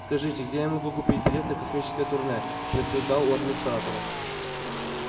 скажите где я могу купить билет на космическое турне спросил гал у администратора